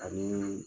Ani